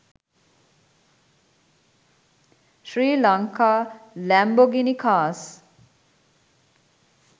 sri lanka lambogini cars